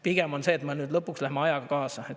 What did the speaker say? Pigem on see, et me lõpuks läheme ajaga kaasa.